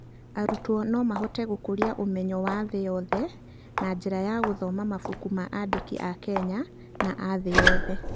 Arutwo no mahote gũkũria ũmenyo wa thĩ yothe na njĩra ya gũthoma mabuku ma andĩki a Kenya na a thĩ yothe.